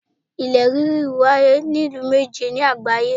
Ilẹ̀ ríri wáyé ní ìlú méje ni àgbáyé